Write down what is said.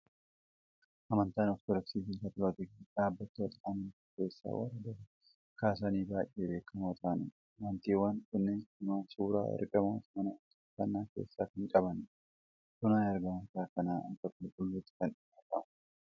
Amantaan Ortoodoksii fi Kaatolikii dhaabbatoota amantii keessaa warra durii kaasanii baay'ee beekamoo ta'anidha. Amantiiwwan kunneen lamaan suuraa ergamootaa mana waaqeffannaa keessaa kan qabanidha. Suuraan ergamoota kanaa akka qulquluutti kan ilaalamudha!